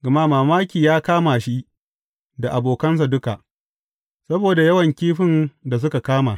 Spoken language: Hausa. Gama mamaki ya kama shi da abokansa duka, saboda yawan kifin da suka kama.